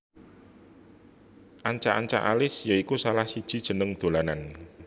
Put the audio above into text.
Ancak ancak Alis ya iku salah siji jeneng dolanan